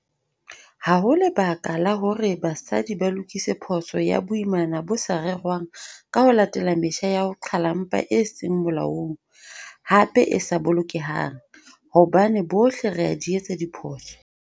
Ha ho lebaka la hore basadi ba lokise phoso ya boimana bo sa rerwang ka ho latela metjha ya ho qhala mpha e seng molaong, hape e sa bolokehang, hobane bohle re a di etsa diphoso.